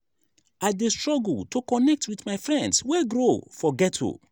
i dey struggle to connect wit my friends wey grow for ghetto.